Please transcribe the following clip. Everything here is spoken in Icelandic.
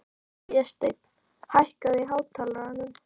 Vésteinn, hækkaðu í hátalaranum.